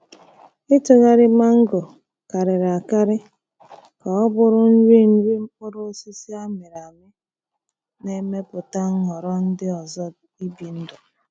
Ịtụgharị mango karịrị akarị ka ọ bụrụ nri nri mkpụrụ osisi a mịrị amị na-emepụta nhọrọ ndị ọzọ ibi ndụ.